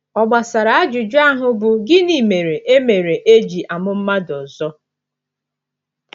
Ọ gbasara ajụjụ ahụ bụ́, Gịnị mere e mere e ji amụ mmadụ ọzọ?